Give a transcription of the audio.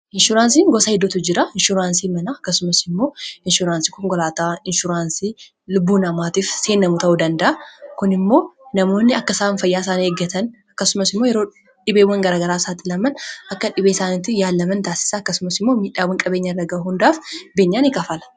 Ishuraansiin gosa hedduutu jira; inshuraansii manaa akkasumas immoo inshuraansii konkolaataa, inshuraansii lubbuu namaatiif seenamu ta'uu danda'a. Kun immoo yeroo dhibeewwan garagaraa saaxulwman akka dhibee isaaniitti yaallaman taasisa akkasumas immoo miidhaawwan qabeenyaa irra gahu hundaaf beenyaa ni kaffala.